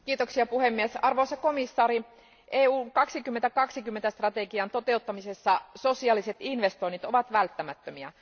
Arvoisa puhemies, arvoisa komissaari, Eurooppa 2020 strategian toteuttamisessa sosiaaliset investoinnit ovat välttämättömiä.